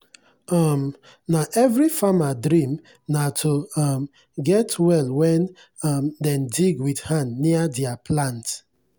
um na every farmer dream na to um get well wen um dem dig wit hand near dier plant.